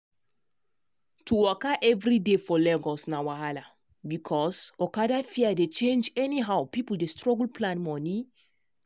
to waka every day for lagos na wahala because okada fare dey change anyhow people dey struggle plan money.